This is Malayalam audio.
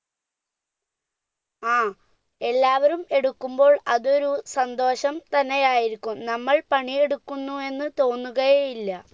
ആ എല്ലാവരും എടുക്കുംപ്പോൾ അതൊരു സന്തോഷം തന്നെയായിരിക്കും നമ്മൾ പണിയെടുക്കുന്നു തോന്നുകയേയില്ല